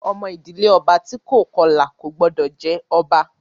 Ọmọ ìdílé ọba tí kò bá Kọlà kò gbọ́dọ̀ jẹ ọba!